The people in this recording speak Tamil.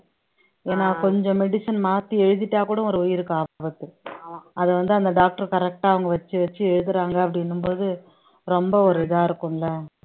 ஏன்னா கொஞ்சம் medicine மாத்தி எழுதிட்டா கூட ஒரு உயிருக்கு ஆபத்து அதை வந்து அந்த doctor correct ஆ அவங்க வச்சு வச்சு எழுதுறாங்க அப்படின்னும் போது ரொம்ப ஒரு இதா இருக்கும்ல